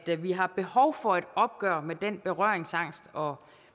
at vi har behov for et opgør med berøringsangsten og